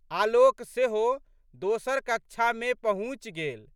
आलोक सेहो दोसर कक्षामे पहुँचि गेल।